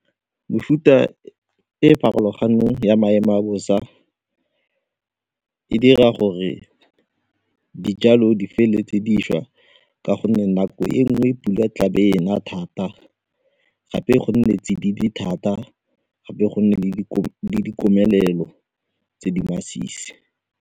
Mefuta e e farologaneng ya maemo a bosa e dira gore dijalo di feletse di swa ka gonne nako e nngwe pula tlaa be e na thata gape go nne tsididi thata gape go nne le dikomelelo tse di masisi.